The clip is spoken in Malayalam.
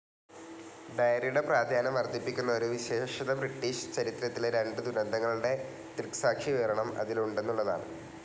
ഡയറിയുടെ പ്രാധാന്യം വർദ്ധിപ്പിക്കുന്ന ഒരു വിശേഷത ബ്രിട്ടീഷ് ചരിത്രത്തിലെ രണ്ടു ദുരന്തങ്ങളുടെ ദൃക്സാക്ഷിവിവരണം അതിൽ ഉണ്ടെന്നുള്ളതാണ്.